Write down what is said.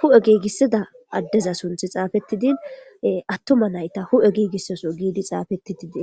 hu7e giigissida addeza sunththi xaafeththidi aththuma na7itha hu7e giigissos giidi xaafeththi dees.